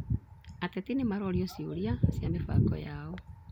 Ateti nĩmarorio ciũria cia mĩbango yao